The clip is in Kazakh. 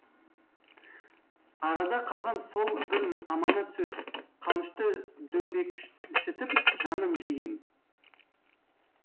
арада қалған сол бір аманат сөз қанышты дөңбекшітіп жанын жеген